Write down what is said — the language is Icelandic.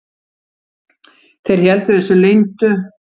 Þeir héldu þessu leyndu.